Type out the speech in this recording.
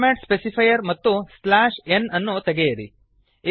format specifier ಮತ್ತು slash n ಅನ್ನು ತೆಗೆಯಿರಿ